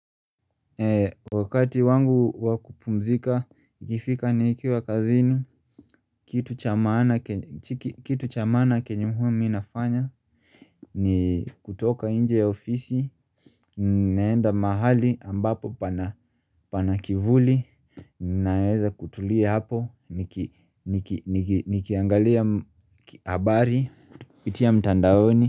Wakati wangu wakupumzika, ikifika nikiwa kazini, kitu cha kitu chamaana kenye mi huwa nafanya ni kutoka inje ya ofisi, naenda mahali ambapo pana kivuli, naeweza kutulia hapo, nikiangalia habari, kupitia mtandaoni.